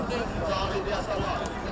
Baxın bu Yasamal.